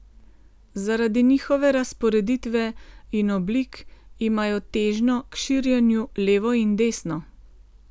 Zaradi njihove razporeditve in oblik imajo težnjo k širjenju levo in desno.